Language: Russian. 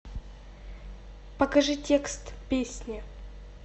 покажи текст песни